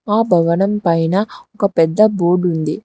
ఆ భవనం పైన ఒక పెద్ద బోర్డుంది .